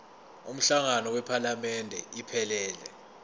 umhlangano wephalamende iphelele